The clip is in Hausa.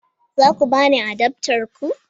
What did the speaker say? Za ku ba ni adaftar ku?